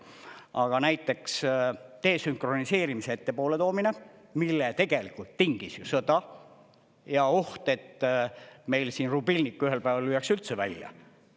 Aga näiteks desünkroniseerimise ettepoole toomine, mille tegelikult tingis ju sõda ja oht, et meil siin rubilnik ühel päeval lüüakse üldse välja.